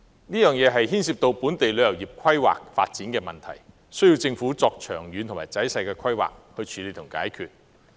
這牽涉本地旅遊業規劃發展的問題，需要政府作長遠及仔細的規劃來處理和解決。